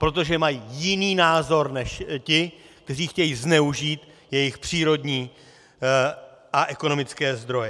Protože mají jiný názor než ti, kteří chtějí zneužít jejich přírodní a ekonomické zdroje.